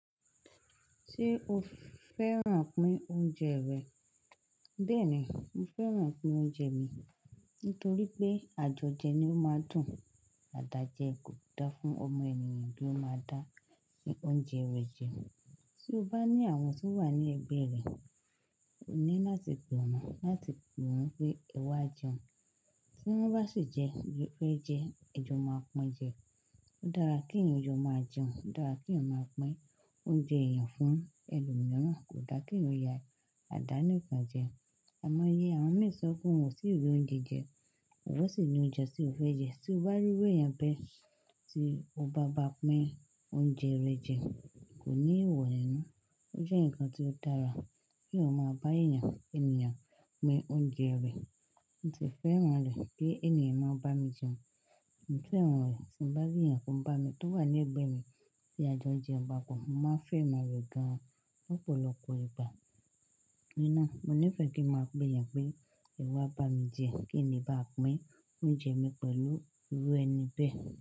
Ṣé o fẹ́ràn pín oúnjẹ rẹ? Bẹ́ẹ̀ni, mo fẹ́ràn pín oúnjẹ mi nítorí pé àjọjẹ ni ó máa ń dùn. Àdájẹ kò da fún ọmọ ènìyàn bí ó máa dá ẹ́, pé oúnjẹ rẹ̀ jẹ. Tí o bá ní àwọn tí wà ní ẹgbẹ́ rẹ, ó ní láti pè wọ́n, láti pè wọ́n pé ẹ wá jẹun. Tí wọ́n bá sì jẹ, fẹ́ jẹ, ẹjọ́ máa pin jẹ. Ó dára kí ènìyàn jọ máa jẹun, ó dára kí ènìyàn máa pín oúnjẹ rẹ̀ fún ẹlòmíràn, kò dára kí ènìyàn ya àdánìkan jẹ. Àimọ́ye àwọn mìí sọ pé wọn tì rí oúnjẹ jẹ, ìwọ́n sì ní oúnjẹ tí wọ́n fẹ́ jẹ. Tí o bá rí irú èèyàn bẹ́ẹ̀ tí o bá báa pín oúnjẹ rẹ jẹ, kò ní ìwọ̀n ẹnu. Ó jẹ́ ǹkan tí ó dára k'èèyàn o máa bá èèyàn, ènìyàn pín oúnjẹ rẹ. Mo sì fẹ́ràn rẹ̀ pé ènìyàn máa ń bá mi jẹun. Mo fẹ́ràn rẹ̀ tí mo bá rí èèyàn tó wà ní ẹgbẹ́ mi tí àjọjẹ ń pápò, mo máa fẹ́ràn rẹ̀ gan-an lọ́pọ̀lọpọ̀ ìgbà. Ní náà, mo nífẹ̀ẹ́ kí màá pè èèyàn pé ẹ wá bá mi jẹ, kí ni bá pín oúnjẹ mi pẹ̀lú irú ẹni bẹ́ẹ̀